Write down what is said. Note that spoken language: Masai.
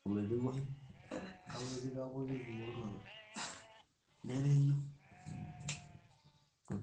entoki naas olairemoni kiti, aun ndaiki te wueji naidipaki aikesisho